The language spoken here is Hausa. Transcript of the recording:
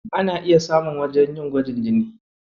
Ana iya samun wajen yin gwajin jini.